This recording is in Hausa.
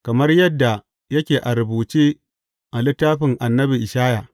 Kamar yadda yake a rubuce a littafin annabi Ishaya.